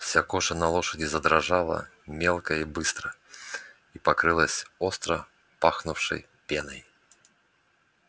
вся кожа на лошади задрожала мелко и быстро и покрылась остро пахнувшей пеной